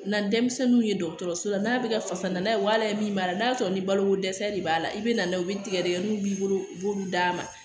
Na denmisɛnninw ye dɔgɔtɔrɔso la n'a bɛ ka fasa n'a ye wa ala ye min b'a la n'a sɔrɔ ni baloko dɛsɛ de b'a la i bɛ na n'a ye u bɛ tigɛdɛgɛw b'i bolo u b'olu d'a ma